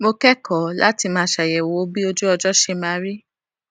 mo kékòó láti máa ṣàyèwò bí ojú ọjó ṣe máa rí